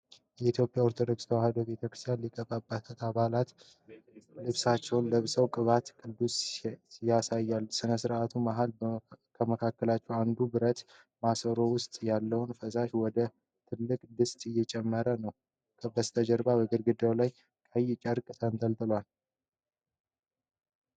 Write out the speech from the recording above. የኢትዮጵያ ኦርቶዶክስ ተዋሕዶ ቤተ ክርስቲያን ሊቃነ ጳጳሳት ባህላዊ ልብሳቸውን ለብሰው ቅባት ቀድሰው ያሳያሉ። በሥነ ሥርዓት መሃል ከመካከላቸው አንዱ ብረት ማሰሮ ውስጥ ያለውን ፈሳሽ ወደ ትልቁ ድስት እየጨመረ ነው። በስተጀርባ በግድግዳው ላይ ቀይ ጨርቅ ተንጠልጥሏል።